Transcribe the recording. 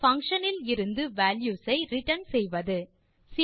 ஒரு பங்ஷன் இலிருந்து வால்யூஸ் ஐ ரிட்டர்ன் செய்வது